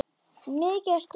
Mikið ertu fín!